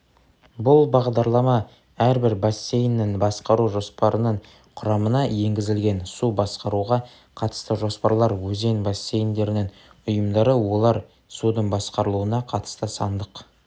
бұл бағдарлама әрбір бассейннің басқару жоспарының құрамына енгізілген су басқаруға қатысты жоспарлар өзен бассейндерінің ұйымдары олар судың басқарылуына қатысты сандық